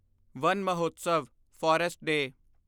one Mahotsav forest day